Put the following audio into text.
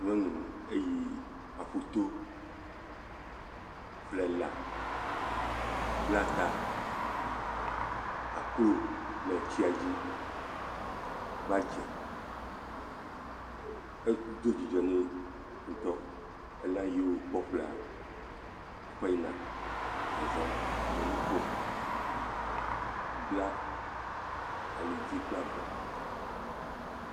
Nyɔnu eyi aƒuto ƒle lã bla ta. Akrɔ le tsia dzi va dze, edo dzidzɔ ne ŋutɔ. Elã yi wokpɔ ƒlea, ekɔe yina, wo nu kom. Ebla ali dzi kple avɔ.